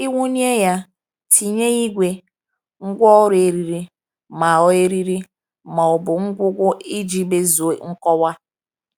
Ịwụnye — Tinye igwe, ngwaọrụ, eriri, ma ọ eriri, ma ọ bụ ngwugwu iji mezuo nkọwa.